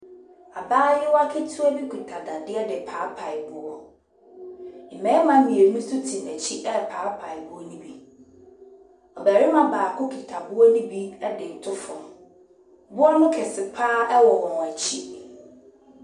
Abayewa ketewa bi kita dadeɛ de repaepae boɔ. Mmarima mmienu nso te n'akyi repaepae boɔ no bi. Ɔbarima baako kita boɔ no bi de reto fam. Boɔ no kɛse pa ara wɔ wɔn akyi.